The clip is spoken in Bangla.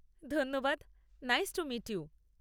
ধন্যবাদ, নাইস টু মিট ইউ।